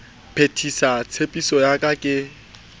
phethisa tshepiso ya ka ke